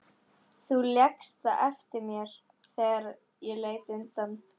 Þú lékst það eftir mér þegar ég leit undan.